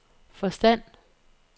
forstand